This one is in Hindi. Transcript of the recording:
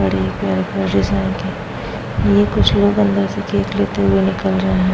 Original cake. ये लोग कुछ अंदर से केक लेते हुए निकल रहे हैं।